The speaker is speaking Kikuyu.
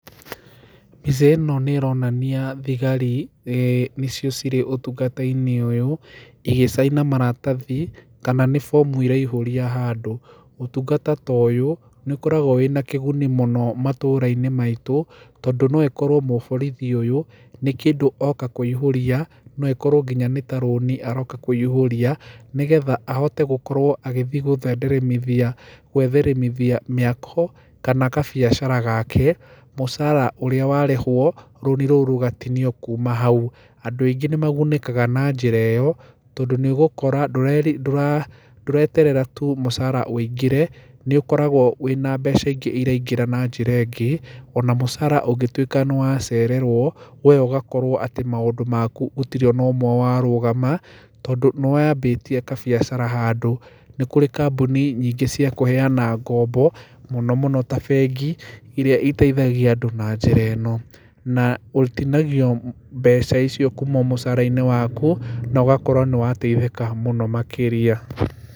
Mbica ĩno nĩĩronania thigari, nĩ nĩcio cirĩ ũtungata-inĩ ũyũ igĩcaina maratathi kana nĩ bomũ iraihũria handũ. Ũtũngata ta ũyũ nĩũkoragwo wĩna kĩgũni mũno matũra-inĩ maitũ, tondũ noĩkorwo mũborithi ũyũ, nĩkĩndũ oka kũihũria, naĩkorwo nginya nĩta rũni oka kũihũria nĩgetha ahote gũkorwo agĩthi gũthenderemithia gwĩtherimithia mĩako, kana kabiacara gake mũcara ũrĩa warĩhwo, runi rũũ rũgatinio kũma haũ. Andũ aingĩ nĩmagũnĩkaga na njĩra ĩyo, tondũ nĩũgũkora ndũreri, ndũraa, ndũreterera tũ mũcara wĩingĩre, nĩũkoragwo ũrĩ na mbeca ingĩ iraingĩra na njĩra ĩngĩ, ona mũcara ũngĩtũĩka nĩwacererũo we ũgũkorwo atĩ maũndũ makũ gũtirĩ ona ũmwe warũgama tondũ nĩwambĩtie kabiacara handũ. Nĩkũrĩ kambũni nyingĩ cia kũheana ngombo, mũnomũno ta bengi, irĩa iteithagia andũ na njĩra ĩno. Na ũtinagio mbeca icio kũma mũcara-inĩ waku na ũgakorwo nĩwateithĩka mũno makĩria.